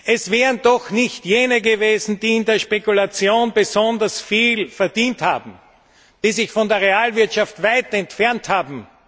Es wären doch nicht jene gewesen, die in der Spekulation besonders viel verdient haben, die sich von der Realwirtschaft weit entfernt haben.